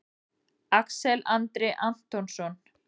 Axel Andri Antonsson